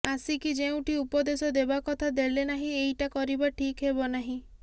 ଆସିକି ଯେଉଁଠି ଉପଦେଶ ଦେବା କଥା ଦେଳେନାହିଁ ଏଇଟା କରିବା ଠିକ ହେବନାହିଁ